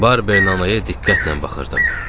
Barberin anaya diqqətlə baxırdım.